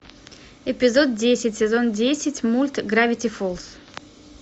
эпизод десять сезон десять мульт гравити фолз